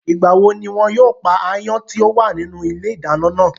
Ìgbà wo ní wọn yóò pa áyán tí ó wà nínú ilé ìdáná náà?